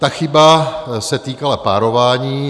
Ta chyba se týkala párování.